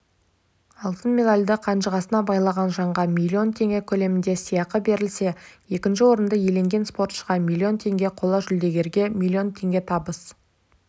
алтын медальді қанжығасына байлаған жанға миллион теңге көлемінде сыйақы берілсе екінші орынды иеленген спортшыға миллион теңге қола жүлдегерге миллион теңге табыс